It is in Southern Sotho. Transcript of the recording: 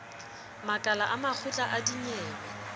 makala a makgotla a dinyewe